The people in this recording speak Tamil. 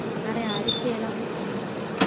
நிறைய அறிக்கை எல்லாம் கொடுத்திருவாங்க